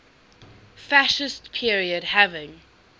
fascist period having